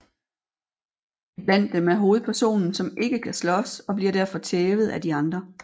Iblandt dem er hovedpersonen som ikke kan slås og bliver derfor tævet er de andre